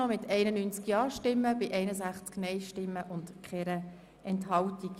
Der Grosse Rat stimmt der Änderung des StG zu.